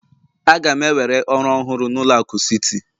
Aga m ewere ọrụ ọhụrụ na ụlọ akụ Citi